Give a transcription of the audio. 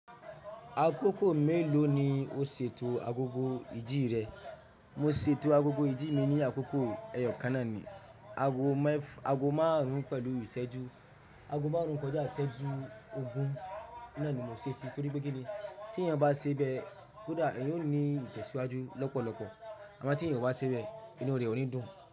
Akókò mélòó ni o ṣètò agogo ìdí rẹ? Mo ṣètò agogo ìdí mi ní akókò ẹyọkàná ni, ago mef ago memárùn-ún pẹ̀lú ìṣẹ́jú, ago márùn-ún kọjá ìṣẹ́jú ogún. Náà ni mo ṣe èsì torí pé kíni tí èèyàn bá ṣe bẹ́ẹ̀, kódà èèyàn ó ní ìtẹ̀síwájú lọ́pọ̀lọpọ̀. Àmọ́ tí èèyàn o bá ṣe bẹ́ẹ̀, inú rẹ̀ ò ní dùn.